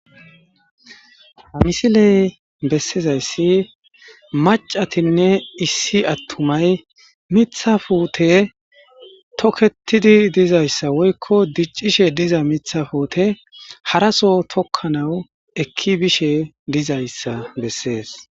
Amisiley bessizayssi macatinne issi attumay mithafuute toketidi dizayssa woykko diccishe diza mithafuute haraso tokkanawu ekki bishe dizayssa bessees.